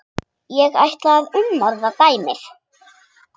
Ég ætla að umorða dæmið.